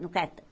No